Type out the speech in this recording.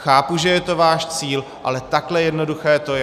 Chápu, že je to váš cíl, ale takhle jednoduché to je.